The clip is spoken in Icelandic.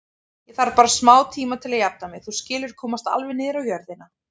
Ég þarf bara smátíma til að jafna mig, þú skilur, komast alveg niður á jörðina.